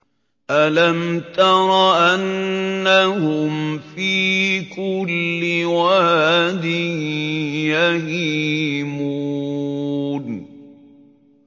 أَلَمْ تَرَ أَنَّهُمْ فِي كُلِّ وَادٍ يَهِيمُونَ